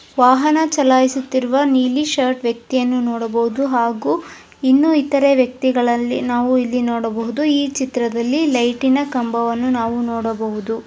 ವಾಹನ ಚಲಾಯಿಸ್ತುರುವ ನೀಲಿ ಶರ್ಟ್ ವ್ಯಕ್ತಿಯನ್ನು ನೋಡಬಹುದು ಹಾಗು ಇನ್ನು ಇತರೆ ವ್ಯಕ್ತಿಗಳಲ್ಲಿ ನಾವು ಇಲ್ಲಿ ನೋಡಬಹದು ಈ ಚಿತ್ರದಲ್ಲಿ ಲೈಟ್ ನ್ ಕಂಬವನ್ನು ನಾವು ನೋಡಬಹುದು.